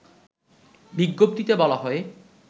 বিজ্ঞপ্তিতে বলা হয়